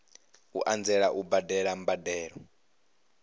u anzela u badela mbadelo